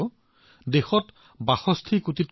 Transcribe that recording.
আমি ইয়াত যিমান পাৰি অৱদান আগবঢ়াব লাগিব